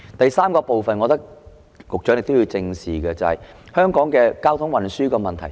第三部分，我認為局長亦要正視的，是香港的交通運輸問題。